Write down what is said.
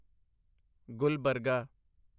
Gulbarga